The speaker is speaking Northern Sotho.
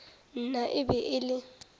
nna e be e le